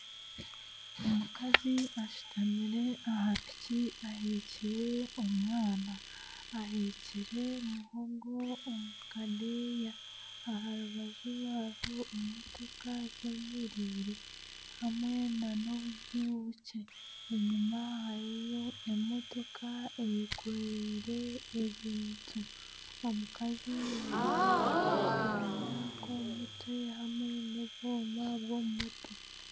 Omukazi ashutamire aha piki ahekire omwana, ahekire muhogo omu kadeeya aha rubaju rwe hariho motoka zeemereire hamwe n'obuju bukye enyima hariyo emotoka eyekoreire ebintu, omukazi aine akenda k'omu mutwe hamwe n'obwenda bw'omu mutwe